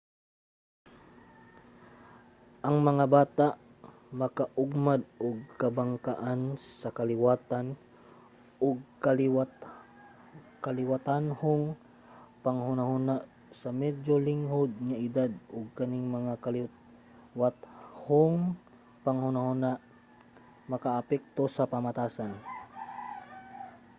ang mga bata makaugmad og kabangkaagan sa kaliwatan ug kaliwatanhong panghunahuna sa medyo linghod nga edad ug kaning mga kaliwatanhong panghunahuna makaapekto sa pamatasan